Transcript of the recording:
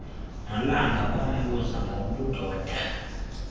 nolanga bambuze ngobudoda